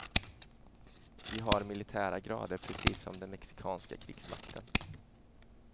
Vi har militära grader precis som den mexikanska krigsmakten.